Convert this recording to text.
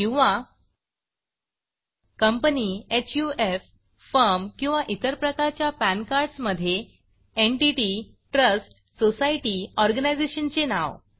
किंवा कंपनी हफ फर्म किंवा इतर प्रकारच्या पॅन कार्ड मधे एन्टिटी ट्रस्ट सोसायटी Organizationचे नाव